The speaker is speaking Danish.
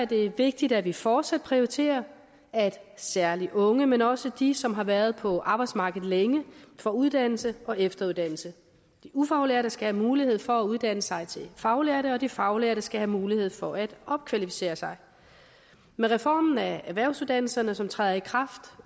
det vigtigt at vi fortsat prioriterer at særlig unge men også de som har været på arbejdsmarkedet længe får uddannelse og efteruddannelse de ufaglærte skal have mulighed for at uddanne sig til faglærte og de faglærte skal have mulighed for at opkvalificere sig med reformen af erhvervsuddannelserne som træder i kraft